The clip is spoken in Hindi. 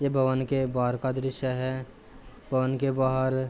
ये भवन के बाहर का दृश्य है। भवन के बाहर --